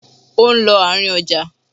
Ó ń lọ àárín ọjà.